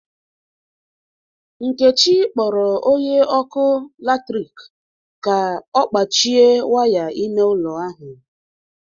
Nkechi kpọrọ onye ọkụ latrik ka ọ kpachie waya ịme ụlọ ahu.